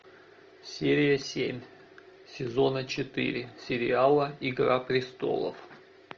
серия семь сезона четыре сериала игра престолов